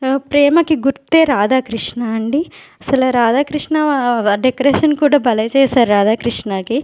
ఆ ప్రేమకి గుర్తే రాధాకృష్ణ అండి అసలా రాధాకృష్ణ డెకరేషన్ కూడా భలే చేశార్ రాధాకృష్ణకి.